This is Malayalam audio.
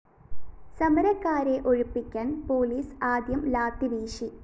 സമരക്കാരെ ഒഴിപ്പിക്കാന്‍ പോലീസ് ആദ്യം ലാത്തിവീശി